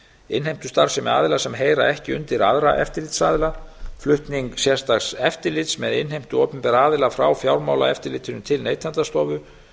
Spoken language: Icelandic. innheimtustarfsemi aðila sem heyra ekki undir aðra eftirlitsaðila flutning sérstaks eftirlits með innheimtu opinberra aðila frá fjármálaeftirlitinu til neytendastofu